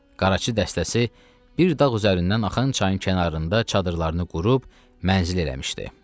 Qarçı dəstəsi bir dağ üzərindən axan çayın kənarında çadırlarını qurub mənzil eləmişdi.